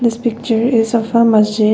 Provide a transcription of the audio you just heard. this picture is a masjid.